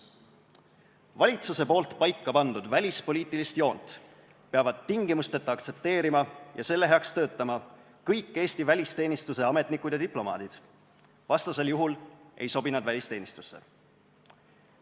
Valitsuse poolt paika pandud välispoliitilist joont peavad tingimusteta aktsepteerima ja selle heaks töötama kõik Eesti välisteenistuse ametnikud ja diplomaadid, vastasel juhul ei sobi nad välisteenistusse.